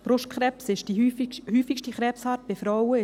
Brustkrebs ist die häufigste Krebsart bei Frauen.